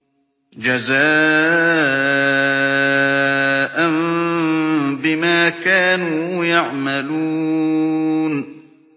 جَزَاءً بِمَا كَانُوا يَعْمَلُونَ